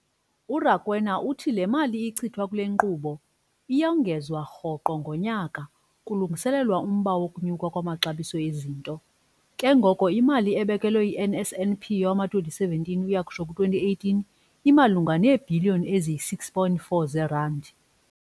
URakwena uthi le mali ichithwa kule nkqubo iyongezwa rhoqo ngonyaka kulungiselelwa umba wokunyuka kwamaxabiso ezinto, ke ngoko imali ebekelwe i-NSNP yowama-2017 ukuyokutsho ku2018 imalunga neebhiliyoni eziyi-6.4 zeerandi.